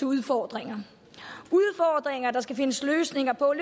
udfordringer der skal findes løsninger på